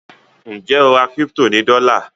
Njé o rà crypto ní dola?